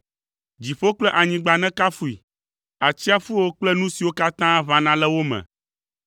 Dziƒo kple anyigba nekafui, atsiaƒuwo kple nu siwo katã ʋãna le wo me,